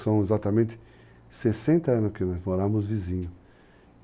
São exatamente 60 anos que nós moramos vizinhos.